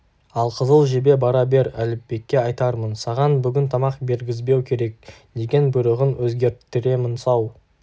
ал қызыл жебе бара бер әліпбекке айтармын саған бүгін тамақ бергізбеу керек деген бұйрығын өзгерттіремін сау